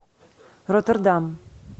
роттердам